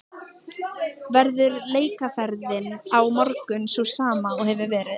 Verður leikaðferðin á morgun sú sama og hefur verið?